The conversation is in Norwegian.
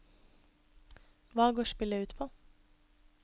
Hva går spillet ut på?